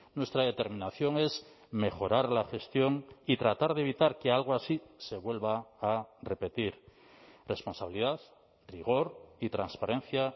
nuestra determinación es mejorar la gestión y tratar de evitar que algo así se vuelva a repetir responsabilidad rigor y transparencia